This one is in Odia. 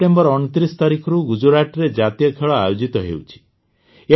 ସେପ୍ଟେମ୍ବର ୨୯ ତାରିଖରୁ ଗୁଜରାଟରେ ଜାତୀୟ ଖେଳ ଆୟୋଜିତ ହେଉଛି